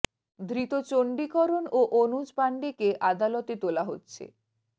ধৃত চণ্ডি করণ ও অনুজ পাণ্ডেকে আদালতে তোলা হচ্ছে